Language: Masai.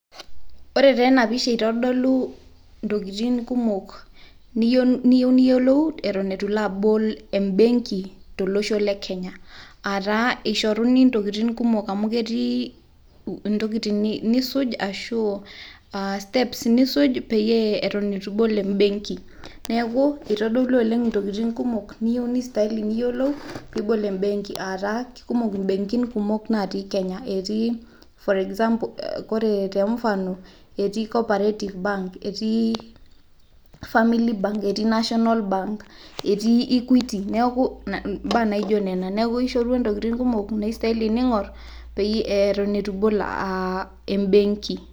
Ore taa enapisha eitodolu ntokitin kumok niyeu niyolou eton etu ilo abol embenki to losho le Kenya aataa eisharuni ntokitin kumok amuu ketii ntokitin nisuj ashuu steps nisuj peyie eton etu ibol mbenki, neaku eitodolu oleng ntokitin kumok neistaili niyolou piibol embenki aataa kekumok mbekin kumok naatii kenya etii gor example koree te mfano etii coorperative bank etii family bank etii Nationala bank etii [c] Equity neaku imbaa naijo nena neaku eishorua ntokitin kumok naistaili niing'orr eton eu ibol embenki.